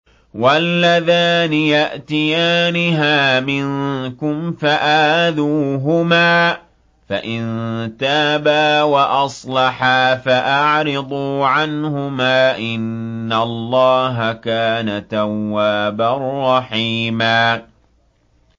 وَاللَّذَانِ يَأْتِيَانِهَا مِنكُمْ فَآذُوهُمَا ۖ فَإِن تَابَا وَأَصْلَحَا فَأَعْرِضُوا عَنْهُمَا ۗ إِنَّ اللَّهَ كَانَ تَوَّابًا رَّحِيمًا